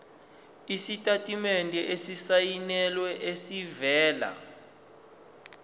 isitatimende esisayinelwe esivela